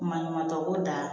Maɲuman kɛ ko da